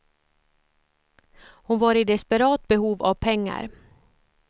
Hon var i desperat behov av pengar.